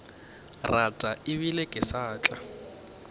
rata ebile ke sa tla